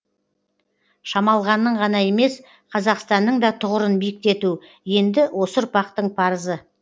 шамалғанның ғана емес қазақстанның да тұғырын биіктету енді осы ұрпақтың парызы